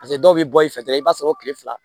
dɔw bɛ bɔ i fɛ dɔrɔn i b'a sɔrɔ o tile fila